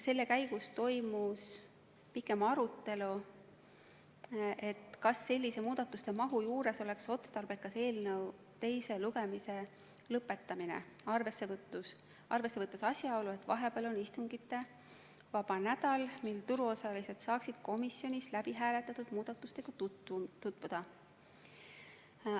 Selle käigus toimus pikem arutelu, kas sellise muudatuste mahu juures oleks otstarbekas eelnõu teine lugemine lõpetada, arvesse võttes asjaolu, et vahepeal on istungivaba nädal, kui turuosalised saaksid komisjonis hääletatud muudatustega tutvuda.